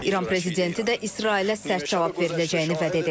İran prezidenti də İsrailə sərt cavab veriləcəyini vəd edib.